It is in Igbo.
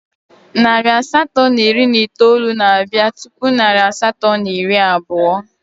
Narị asatọ na iri na itoolu na-abịa tupu narị asatọ na iri abụọ